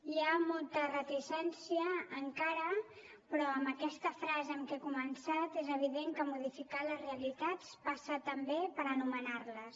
hi ha molta reticència encara però amb aquesta frase amb què he començat és evident que modificar les realitats passa també per anomenar les